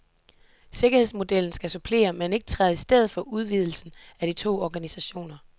Sikkerhedsmodellen skal supplere, men ikke træde i stedet for udvidelsen af de to organisationer.